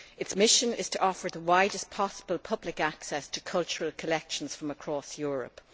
Its mission is to offer the widest possible public access to cultural collections from across Europe.